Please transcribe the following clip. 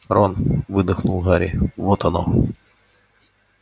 рон выдохнул гарри вот оно